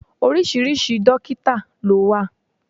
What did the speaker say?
Oríṣiríṣi dọ́kítà ló wà.